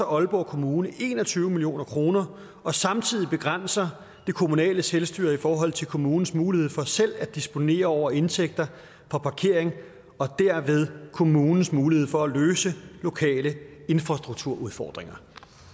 aalborg kommune en og tyve million kroner og samtidig begrænser det kommunale selvstyre i forhold til kommunens muligheder for selv at disponere over indtægter fra parkering og derved kommunens muligheder for at løse lokale infrastrukturudfordringer